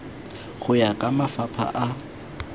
go ya ka mafapha a